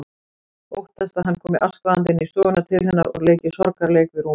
Óttast að hann komi askvaðandi inn á stofuna til hennar og leiki sorgarleik við rúmið.